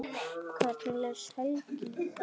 Hvernig les Helgi í það?